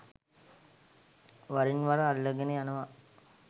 වරින් වර අල්ලගෙන යනව.